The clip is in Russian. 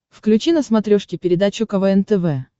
включи на смотрешке передачу квн тв